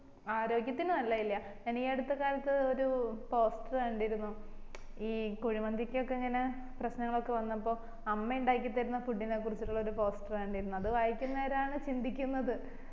ആര്യോഗത്തിന് നലല്ലേ ഞാൻ ഈ അടുത്ത കാലത്ത് ഒരു poster കണ്ടിരുന്നു ഈ കുഴിമന്ദിക്കൊക്കെ ഇങ്ങനെ പ്രശ്നങ്ങള് ഒക്കെ വന്നപ്പോ 'അമ്മ ഇണ്ടാക്കി തരിന്ന food നെ കുറിച്ചിട്ടൊരു poster കണ്ടിരുന്നു അത് വായിയ്കുന്നെരാണ് ചിന്തിക്കുന്നത്.